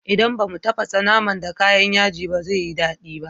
Idan ba mu tafasa naman da kayan yaji ba zai yi daɗi ba.